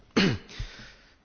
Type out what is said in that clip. Panie Przewodniczący!